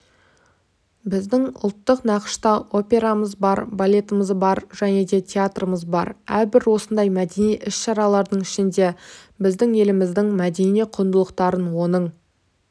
біздің ұлттық нақышта операмыз бар балетіміз бар және де театрымыз бар әрбір осындай мәдени іс-шаралардың ішінде біздің еліміздің мәдени құндылықтарын оның